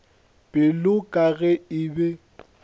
pelo ka ge e be